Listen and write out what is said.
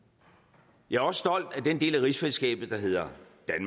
jeg er også stolt af den del af rigsfællesskabet der hedder